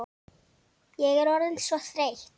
Ég er orðin svo þreytt.